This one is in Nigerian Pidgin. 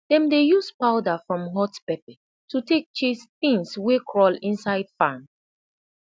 dem dey use powda from hot pepper to tak chase tins wey crawl inside farm